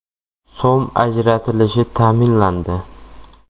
so‘m ajratilishi ta’minlandi.